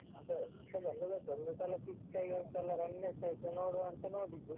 ನಾನ್ಸ ಈಗ ಬಂದದಷ್ಟೇ ಒಂದು ಸಲ quick ಆಗಿ ಒಂದ್ಸಲ run ಎಷ್ಟಾಯ್ತು ಅಂತ ನೋಡಿದ್ದು.